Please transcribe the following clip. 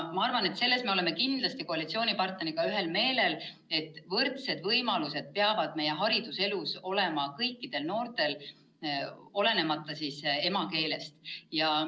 Ma arvan, et selles me oleme kindlasti koalitsioonipartneriga ühel meelel, et võrdsed võimalused peavad meie hariduselus olema kõikidel noortel, olenemata emakeelest.